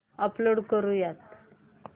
upload करुयात